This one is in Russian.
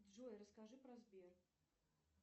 джой расскажи про сбер